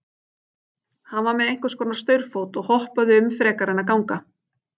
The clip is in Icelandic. Hann var með einhvers konar staurfót og hoppaði um frekar en að ganga.